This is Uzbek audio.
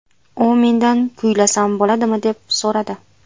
U mendan kuylasam bo‘ladimi, deb so‘radi.